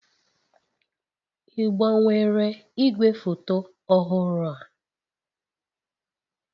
Ị gbanwere igwefoto ọhụrụ a?